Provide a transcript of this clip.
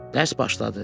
Dərs başladı.